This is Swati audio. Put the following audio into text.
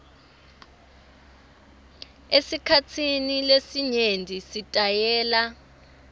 esikhatsini lesinyenti sitayela